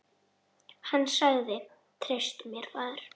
Hann sagði: Treystu mér, faðir.